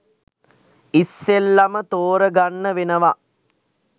ඉස්සෙල්ලම ‍තෝරගන්න වෙනවා.